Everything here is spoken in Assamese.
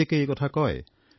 প্ৰত্যেকেই এই কথা কয়